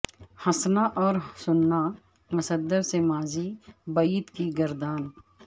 ہنسنا اور سننا مصدر سے ماضی بعید کی گردان